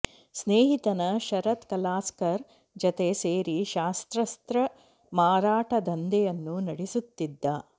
ಸ್ನೇಹಿತನ ಶರದ್ ಕಲಾಸ್ಕರ್ ಜತೆ ಸೇರಿ ಶಸ್ತ್ರಾಸ್ತ್ರ ಮಾರಾಟ ದಂಧೆಯನ್ನೂ ನಡೆಸುತ್ತಿದ್ದ